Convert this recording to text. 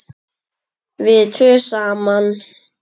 Við tvö saman.